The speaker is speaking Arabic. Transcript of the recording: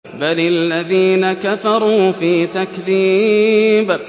بَلِ الَّذِينَ كَفَرُوا فِي تَكْذِيبٍ